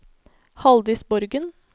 Haldis Borgen